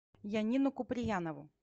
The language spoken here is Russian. янину куприянову